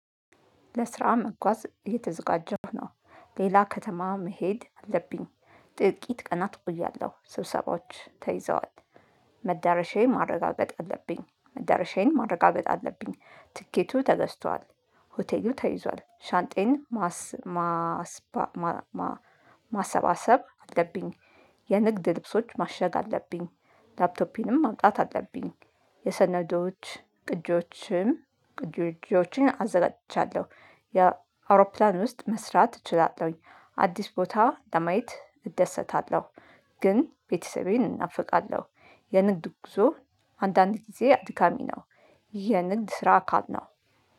ለስራ መጓዝ የተዘጋጀሁ ነው። ሌላ ከተማ መሄድ አለብኝ። ጥቂት ቀናት እቆያለሁ ስብሰባዎች ተይዘዋል። መዳረሻዬን ማረጋገጥ አለብኝ መዳረሻዬን ማረጋገጥ አለብኝ ትኬቱ ተገዝቷል። ሆቴሉ ተይዟል ሻንጣየን ማሰባሰብ አለብኝ። የንግድ ልብሶች ማሸግ አለብኝ። ላፕቶፔንም ማምጣት አለብኝ። የሰነዶች ቅጂዎችም ቅጂዎችን አዘጋጅቻለሁ። የአውሮፕላን ውስጥ መስራት እችላለሁኝ። አዲስ ቦታ ለማየት እደሰታለሁ። ግን ቤተሰቤን እናፍቃለሁ። የንግድ ጉዞ አንዳንድ ጊዜ አድካሚ ነው። ይህ የንግድ ስራ አካል ነው።